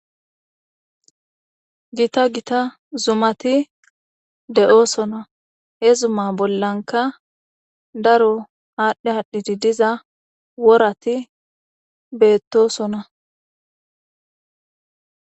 Gita gita zumati de7oosona he zuma bollanka daro aadhdhe aadhdhiti diza worati beettosona.